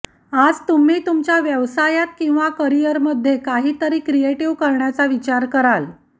आज तुम्ही तुमच्या व्यवसायात किंवा करिअरमध्ये काहीतरी क्रिएटिव्ह करण्याचा विचार कराल